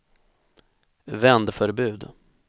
vändförbud